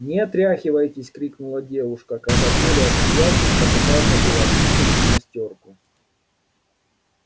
не отряхивайтесь крикнула девушка когда коля отсмеявшись попытался было очистить гимнастёрку